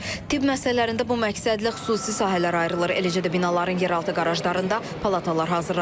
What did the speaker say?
Tibb məsələlərində bu məqsədlə xüsusi sahələr ayrılır, eləcə də binaların yeraltı qarajlarında palatalar hazırlanır.